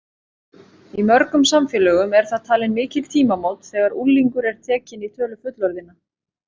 Í mörgum samfélögum eru það talin mikil tímamót þegar unglingur er tekinn í tölu fullorðinna.